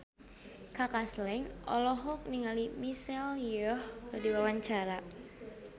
Kaka Slank olohok ningali Michelle Yeoh keur diwawancara